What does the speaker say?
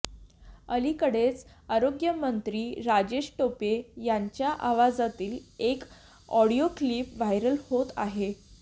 अलीकडेच आरोग्यमंत्री राजेश टोपे यांच्या आवाजातील एक ऑडिओ क्लिप व्हायरल होत आहे